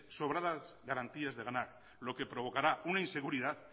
sobradas garantías de ganar lo que provocará una inseguridad